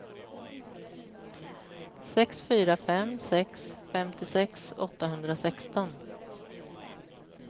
sex fyra fem sex femtiosex åttahundrasexton